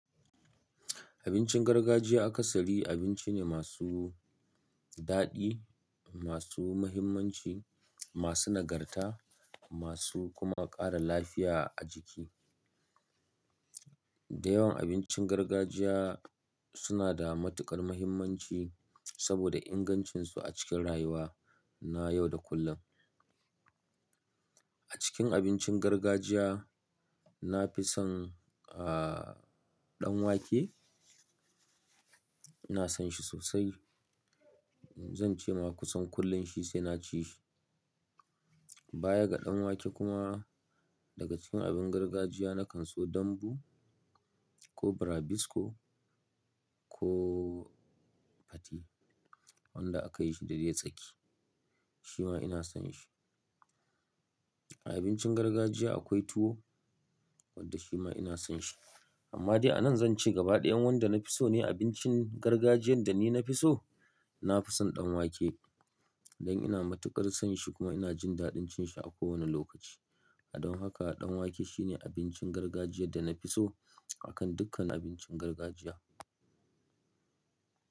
Abincin gargajiya akasari abinci ne masu daɗi, masu mahimmanci, masu nagarta, masu kuma ƙara lafiya a jiki. Dayawan abincin gargajiya suna da matuƙar mahimmanci saboda ingancinsu a cikin rayuwa na yau da kullum. A cikin abincin gargajiya na fi son, ah, ɗan wake. Ina son shi sosai. Zan ce ma kusan kullum shi sai na ci shi. Baya ga ɗan wake kuma daga cikin abin gargajiya na kan so dambu ko brabisko ko pate wanda aka yi shi da dai tsaki. Shi ma ina son shi. A abincin gargajiya akwai tuwo wanda shi ma ina son shi. Amma dai a nan zan ce gaba ɗaya wanda na fi so ne abincin gargajiyan da ni na fi so, na fi son ɗan wake dan ina matuƙar son shi kuma ina jin daɗin cin shi a kowane lokaci. Don haka ɗan wake shine abincin gargajiya da na fi so a kan dukkan abincin gargajiya.